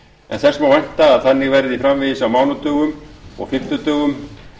en þess má vænta að þannig verði framvegis á mánudögum og fimmtudögum